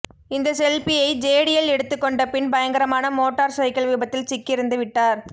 இந்த செல்பியை ஜேடியல் எடுத்துக்கொண்ட பின் பயங்கரமான மோட்டார் சைக்கிள் விபத்தில் சிக்கி இறந்துவிட்டார்